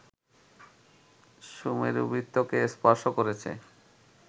সুমেরুবৃত্তকে স্পর্শ করেছে